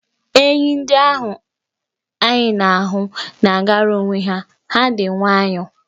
Enyì ndị anyị na-ahụ na-agara onwe ha, ha dị nwayọ.